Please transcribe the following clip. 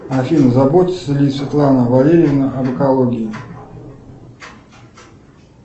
афина заботится ли светлана валерьевна об экологии